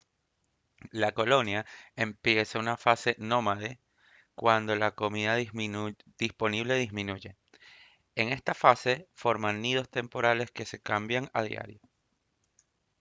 la colonia empieza una fase nómade cuando la comida disponible disminuye en esta fase forman nidos temporales que se cambian a diario